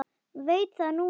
Veit það núna.